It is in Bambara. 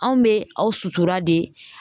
Anw be aw sutura de